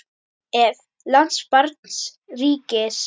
Ef. lands barns ríkis